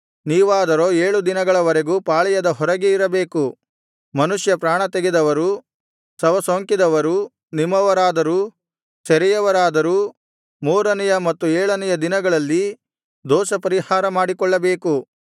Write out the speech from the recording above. ನೀವಾದರೋ ಏಳು ದಿನದವರೆಗೂ ಪಾಳೆಯದ ಹೊರಗೆ ಇರಬೇಕು ಮನುಷ್ಯ ಪ್ರಾಣತೆಗೆದವರೂ ಶವಸೋಂಕಿದವರೂ ನಿಮ್ಮವರಾದರೂ ಸೆರೆಯವರಾದರೂ ಮೂರನೆಯ ಮತ್ತು ಏಳನೆಯ ದಿನಗಳಲ್ಲಿ ದೋಷಪರಿಹಾರ ಮಾಡಿಕೊಳ್ಳಬೇಕು